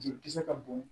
Jolikisɛ ka bon